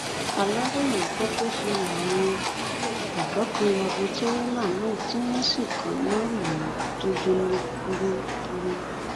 aláròye gbọ pé ṣe làwọn ọdọ kan ya bo tìrélà náà tí wọn sì kaná lù ú tó jóná gbúgbúrú